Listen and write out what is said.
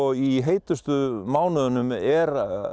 í heitustu mánuðunum er